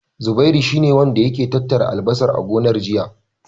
Zubairu shi ne wanda yake tattara albasar a gonar, jiya.